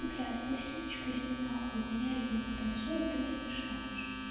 блять пусть лизочка идёт на хуй у меня ребёнок танцует ты мне мешаешь